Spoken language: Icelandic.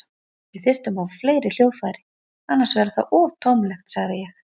Við þyrftum að fá fleiri hljóðfæri, annars verður það of tómlegt, sagði ég.